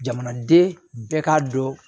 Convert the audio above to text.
Jamanaden bɛɛ k'a dɔn